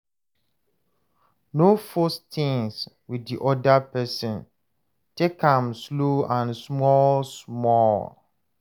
No force things with di oda person, take am slow and small small